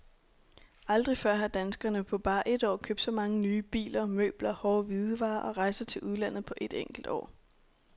Aldrig før har danskerne på bare et år købt så mange nye biler, møbler, hårde hvidevarer og rejser til udlandet på et enkelt år.